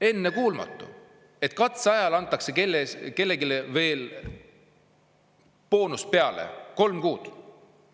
Ennekuulmatu, et katseajal antakse kellelegi veel boonus peale – kolme kuu palk!